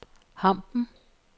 Hampen